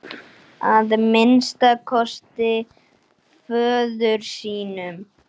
Að minnsta kosti föður sínum.